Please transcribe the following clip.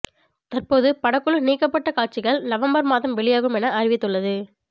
தற்போது படக்குழு நீக்ப்பட காட்சிகள் நவம்பர் மாதம் வெளியாகும் என அறிவித்துள்ளது